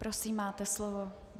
Prosím, máte slovo.